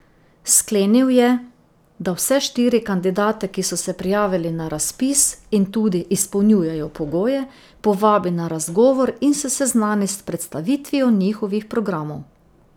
Sklenil je, da vse štiri kandidate, ki so se prijavili na razpis in tudi izpolnjujejo pogoje, povabi na razgovor in se seznani s predstavitvijo njihovih programov.